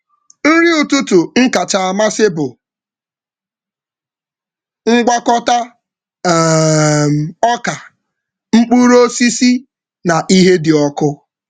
Nri ụtụtụ m kacha amasị bụ ngwakọta um ọka, mkpụrụ osisi, na ihe dị ọkụ.